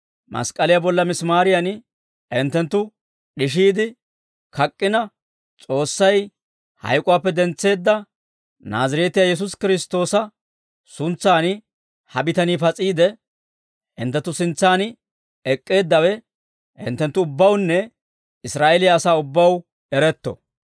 mask'k'aliyaa bolla misimaariyan hinttenttu d'ishiide kak'k'ina, S'oossay hayk'uwaappe dentseedda Naazireetiyaa Yesuusi Kiristtoosa suntsan ha bitanii pas'iide, hinttenttu sintsaan ek'k'eeddawe hinttenttu ubbawunne Israa'eeliyaa asaa ubbaw eretto.